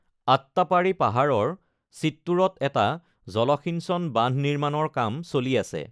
আট্টাপ্পাড়ি পাহাৰৰ চিত্তুৰত এটা জলসিঞ্চন বান্ধ নিৰ্মাণৰ কাম চলি আছে।